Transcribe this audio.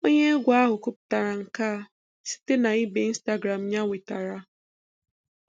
Onye egwu ahụ kwuputara nke a site na ibe Instagram ya enwetara.